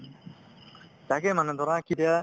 তাকে মানে ধৰা